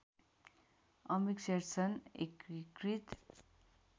अमिक शेरचन एकीकृत